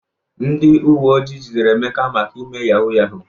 Ndị uwe ojii jidere Emeka maka ime yahuu yahuu.